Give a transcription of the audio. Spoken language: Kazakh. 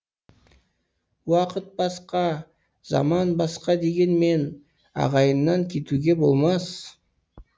уақыт басқа заман басқа дегенмен ағайыннан кетуге болмас